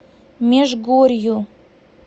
межгорью